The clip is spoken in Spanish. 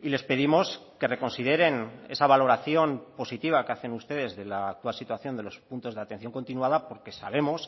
y les pedimos que reconsideren esa valoración positiva que hacen ustedes de la actual situación de los puntos de atención continuada porque sabemos